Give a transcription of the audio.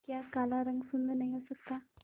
क्या काला रंग सुंदर नहीं हो सकता